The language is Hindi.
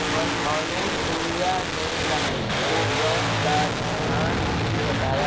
अनुसूया ने रानी को व्रत का विधान भी बताया